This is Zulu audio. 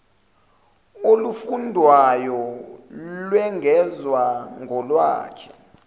olufundwayo lwengezwa kolwakhe